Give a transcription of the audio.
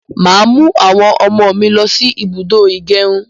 Màá mu àwọn ọmọ mí lo sí ibùdó ìgẹrun